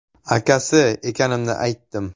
Akasi ekanimni aytdim.